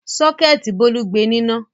Sọ́kẹ́tì Bólú gbe níná.